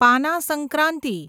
પાના સંક્રાંતિ